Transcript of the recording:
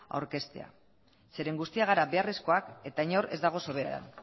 aurkezten zeren guztiak gara beharrezkoak eta inor ez dago sobera